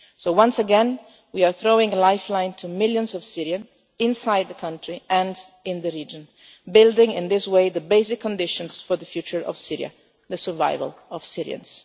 States. So, once again, we are throwing a lifeline to millions of Syrians, inside the country and in the region, building in this way the basic conditions for the future of Syria, the survival of Syrians.